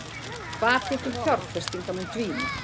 Hvati til fjárfestinga mun dvína